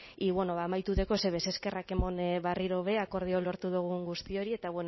y bueno amaituko dut eskerrak emon berriro be akordioa lortu dugun guztioi eta